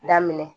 Daminɛ